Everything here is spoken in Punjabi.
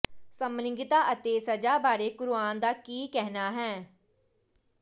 ਸਮਲਿੰਗਤਾ ਅਤੇ ਸਜ਼ਾ ਬਾਰੇ ਕੁਰਆਨ ਦਾ ਕੀ ਕਹਿਣਾ ਹੈ